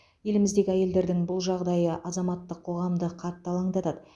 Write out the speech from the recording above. еліміздегі әйелдердің бұл жағдайы азаматтық қоғамды қатты алаңдатады